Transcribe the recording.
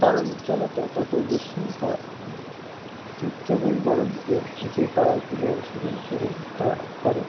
তারার উজ্জ্বলতাও তত বেশি হয় চিত্রের এই গড়নকে যে তারাগুলো অনুসরণ করে তারা করে